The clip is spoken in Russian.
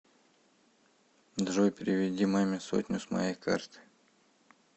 джой переведи маме сотню с моей карты